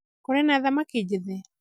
kũrĩ na thamaki njethe?